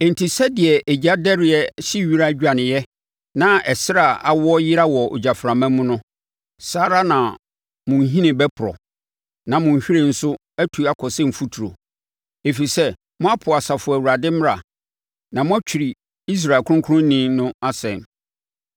Enti, sɛdeɛ egyadɛreɛ hye wira dwaneeɛ na ɛserɛ a awo yera wɔ ogyaframa mu no, saa ara na mo nhini bɛporɔ, na mo nhwiren nso atu akɔ sɛ mfuturo; ɛfiri sɛ moapo Asafo Awurade mmara na moatwiri Israel Kronkronni no asɛm.